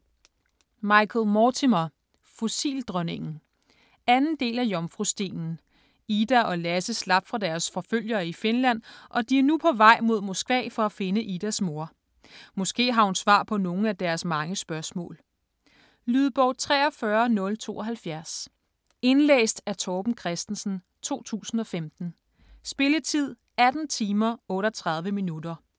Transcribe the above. Mortimer, Michael: Fossildronningen 2. del af Jomfrustenen. Ida og Lasse slap fra deres forfølgere i Finland og de er nu på vej mod Moskva for at finde Idas mor. Måske har hun svar på nogle af deres mange spørgsmål. Lydbog 43072 Indlæst af Torben Christensen, 2015. Spilletid: 18 timer, 38 minutter.